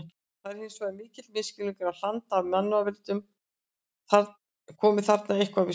Það er hins vegar mikill misskilningur að hland af mannavöldum komi þarna eitthvað við sögu.